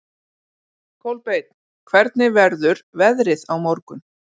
Kolbeinn, hvernig verður veðrið á morgun?